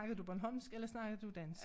Snakkede du bornholmsk eller snakkede du dansk?